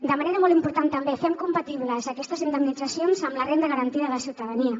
de manera molt important també fem compatibles aquestes indemnitzacions amb la renda garantida de ciutadania